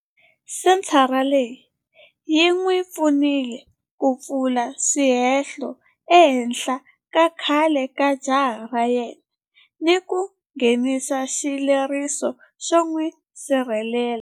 Senthara leyi yi n'wi pfunile ku pfula swihehlo ehenhla ka khale ka jaha ra yena ni ku nghenisa xileriso xo n'wi sirhelela.